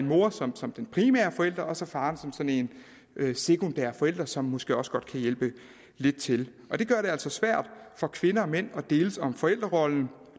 mor som som den primære forælder og så faren som sådan en sekundær forælder som måske også godt kan hjælpe lidt til og det gør det altså svært for kvinder og mænd at deles om forældrerollen